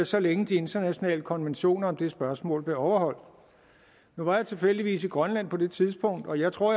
så længe de internationale konventioner om det spørgsmål blev overholdt nu var jeg tilfældigvis i grønland på det tidspunkt og jeg tror